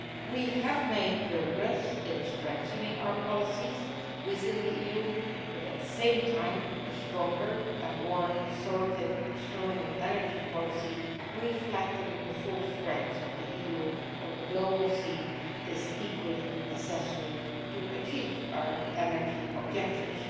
We have made progress in strengthening our policies within the EU. At the same time, a stronger and more assertive external energy policy reflecting the full strength of the EU on the global scene is equally necessary to achieve our energy objectives.